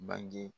Bange